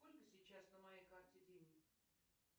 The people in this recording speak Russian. сколько сейчас на моей карте денег